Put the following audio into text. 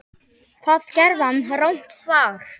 Hvað gerði hann rangt þar?